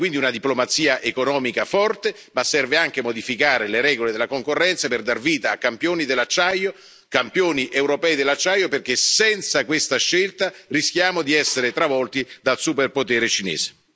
Serve quindi una diplomazia economica forte, ma serve anche modificare le regole della concorrenza per dar vita a campioni dell'acciaio, campioni europei dell'acciaio, perché senza questa scelta rischiamo di essere travolti dal super potere cinese.